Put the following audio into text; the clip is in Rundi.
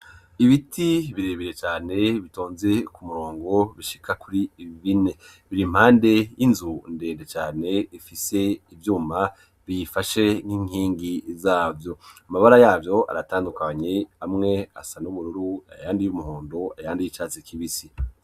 Ibiti birebeye cane bitonze ku murongo bishika kuri bine biri impande y'inzu ndende cane ifise ivyuma biyifashe nk'inkingi zavyo. Amabara yavyo aratandukanye, amwe asa n ubururu ayandi y'umuhondo, ayandi y'icatsi kibisi.